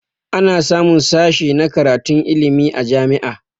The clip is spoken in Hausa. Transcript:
Ana samun sashi na karatun ilmi a jami'a